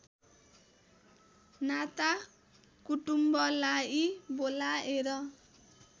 नाता कुटुम्बलाई बोलाएर